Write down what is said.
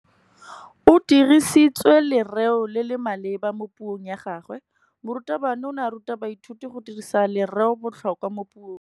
O dirisitse lerêo le le maleba mo puông ya gagwe. Morutabana o ne a ruta baithuti go dirisa lêrêôbotlhôkwa mo puong.